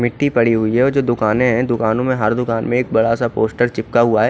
मिट्टी पड़ी हुई है और जो दुकाने है दुकानों में हर दुकान में एक बड़ा सा एक पोस्टर चिपका हुआ है।